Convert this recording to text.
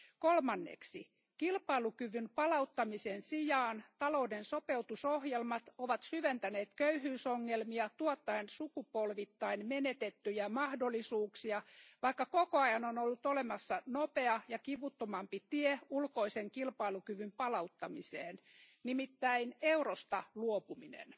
Kolmanneksi kilpailukyvyn palauttamisen sijaan talouden sopeutusohjelmat ovat syventäneet köyhyysongelmia tuottaen sukupolvittain menetettyjä mahdollisuuksia, vaikka koko ajan on ollut olemassa nopea ja kivuttomampi tie ulkoisen kilpailukyvyn palauttamiseen, nimittäin eurosta luopuminen.